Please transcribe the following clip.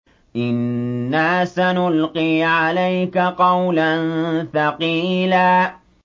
إِنَّا سَنُلْقِي عَلَيْكَ قَوْلًا ثَقِيلًا